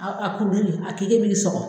A a kuruli a sɔgɔ